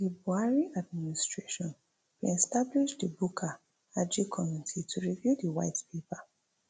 di buhari administration bin establish di bukar aji committee to review di white paper